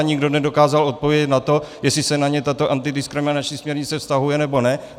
A nikdo nedokázal odpovědět na to, jestli se na ně tato antidiskriminační směrnice vztahuje, nebo ne.